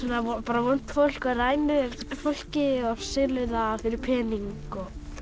er vont fólk og rænir fólki og selur það fyrir pening